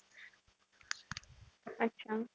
अच्छा.